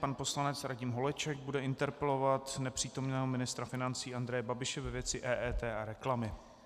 Pan poslanec Radim Holeček bude interpelovat nepřítomného ministra financí Andreje Babiše ve věci EET a reklamy.